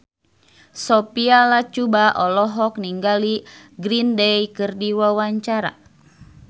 Sophia Latjuba olohok ningali Green Day keur diwawancara